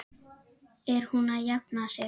Er hún að jafna sig?